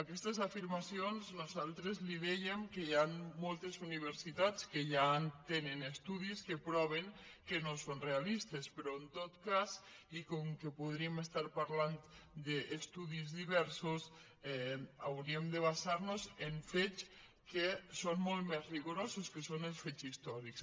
aquestes afirmacions nosaltres li dèiem que hi han moltes universitats que ja tenen estudis que proven que no són realistes però en tot cas i com que podríem estar parlant d’estudis diversos hauríem de basar nos en fets que són molt més rigorosos que són els fets històrics